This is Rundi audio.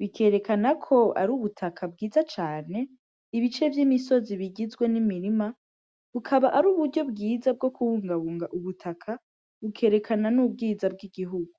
Bikerekana ko ari ubutaka bwiza cane, ibice vy'imisozi bigizwe n'imirima, bukaba ari uburyo bwiza bwo kubungabunga ubutaka, bukerekana n'ubwiza bw'igihugu.